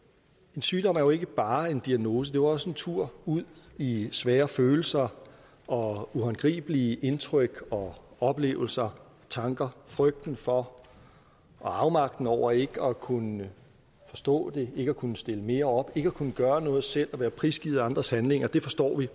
en sygdom er jo ikke bare en diagnose det er også en tur ud i svære følelser og uhåndgribelige indtryk og oplevelser og tanker frygten for og afmagten over ikke at kunne forstå det ikke at kunne stille mere op ikke at kunne gøre noget selv og være prisgivet andres handlinger det forstår vi